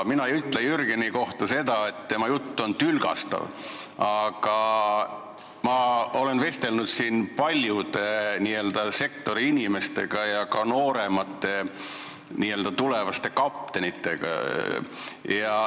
Mina ei ütle Jürgeni kohta seda, et tema jutt on tülgastav, aga ma olen vestelnud paljude n-ö sektoriinimestega ja ka nooremate tulevaste kaptenitega.